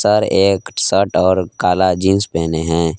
Sir एक shirt और काला जींस पहने हैं।